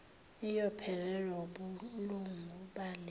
iyophelelwa wubulungu bale